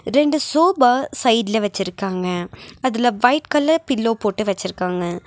ரெண்டு சோபா சைட்ல வச்சிருக்காங்க அதுல ஒயிட் கலர் பில்லோ போட்டு வச்சிருக்காங்க.